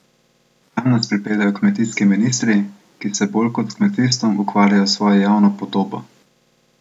Kam nas pripeljejo kmetijski ministri, ki se bolj kot s kmetijstvom ukvarjajo s svojo javno podobo?